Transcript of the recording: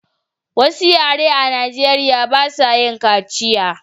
Wasu yare a najeriya ba su yin kaciya